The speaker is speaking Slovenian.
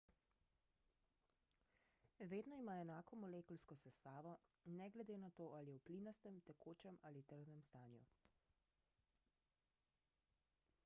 vedno ima enako molekulsko sestavo ne glede na to ali je v plinastem tekočem ali trdnem stanju